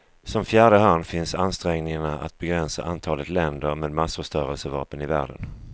Som fjärde hörn finns ansträngningarna att begränsa antalet länder med massförstörelsevapen i världen.